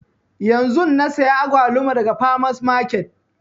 Yanzun na saya agwaluma daga farmers market